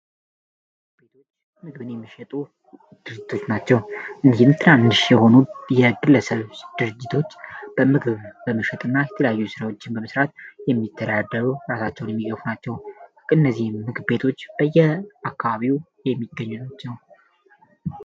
ምግብ ቤቶች በምግብን የሚሸጡ ድርጅቶች ናቸው፡፡ እንዲህም ትራንድሽ የሆኑ የእግለሰብስ ድርጅቶች በምግብ በመሸጥእና የተለያዩ ስራዎችን በመስራት የሚተሪያደሩ እራሳቸውን የሚዮፍ ናቸው እነዚህ ምግቤቶች በየ አካባቢው የሚገኙ ናቸው፡፡